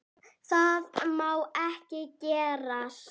Það má ekki gerast.